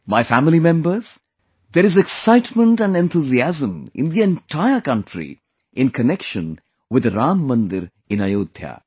My family members, there is excitement and enthusiasm in the entire country in connection with the Ram Mandir in Ayodhya